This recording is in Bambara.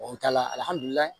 n'o t'a la